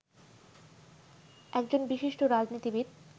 একজন বিশিষ্ট রাজনীতিবিদ